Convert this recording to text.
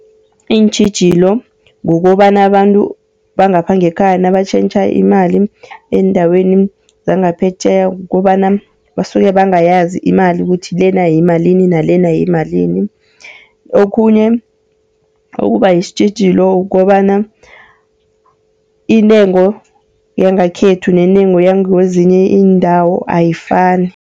Iintjhijilo kukobana abantu bangapha ngekhaya nabatjhentjhe imali endaweni zangaphetjheya, kukobana basuke bangayazi imali ukuthi lena yimalini nalena yimalini. Okhunye okuba yisitjhijilo ukobana intengo yangekhethu nentengo yangakwezinye iindawo ayifani.